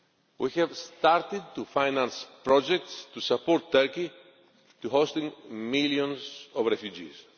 We have started to finance projects to support Turkey in hosting millions of refugees.